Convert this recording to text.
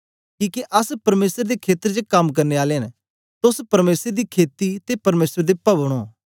किके अस परमेसर दे खेत्र च कम करने आले न तोस परमेसर दी खेती ते परमेसर दे पभन ओं